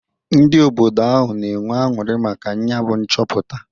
Ndị obodo ahụ na-enwe aṅụrị maka nyabụ nchọpụta.